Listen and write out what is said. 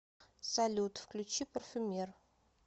салют включи парфюмер